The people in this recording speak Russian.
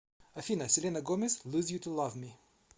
афина селена гомез луз ю ту лав ми